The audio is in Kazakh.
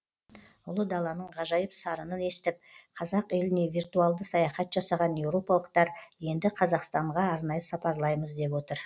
ұлы даланың ғажайып сарынын естіп қазақ еліне виртуалды саяхат жасаған еуропалықтар енді қазақстанға арнайы сапарлаймыз деп отыр